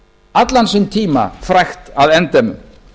allan sinn tíma frægt að endemum